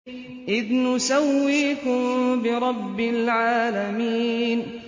إِذْ نُسَوِّيكُم بِرَبِّ الْعَالَمِينَ